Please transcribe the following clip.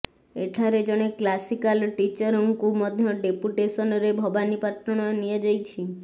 ଏଠାରେ ଜଣେ କ୍ଲାସିକାଲ ଟିଚରଙ୍କୁ ମଧ୍ୟ ଡେପୁଟେସନରେ ଭବାନୀପାଟଣା ନିଆ ଯାଇଛି